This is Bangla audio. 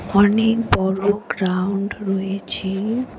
অনেক বড় গ্রাউন্ড রয়েছে।